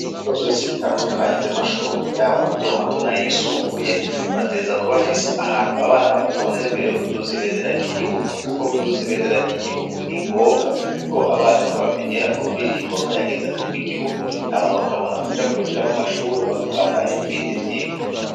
Ibigo byose bitandukanye by'amashuri y'aba matomato nayisumbuye bateza kubafisa ahantu abana batonde mbere yo kuduza ibendera ry'igihugu kuko kuduza ibendera ry'igihugu ni ngombwa kuko abana niho bamenyera ururirimbo ruhayagiza ibi gihugu ama bakabona kuja kwinjira mu mashure bakabandanya ibindi vyigwa.